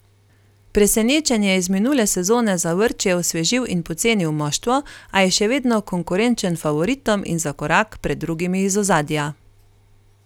Presenečenje iz minule sezone Zavrč je osvežil in pocenil moštvo, a je še vedno konkurenčen favoritom in za korak pred drugimi iz ozadja.